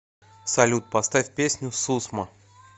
салют поставь песню сусма